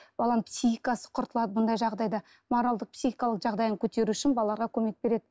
баланың психикасы құртылады мұндай жағдайда моральдық психикалық жағдайын көтеру үшін балаға көмек береді